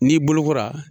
N'i bolokora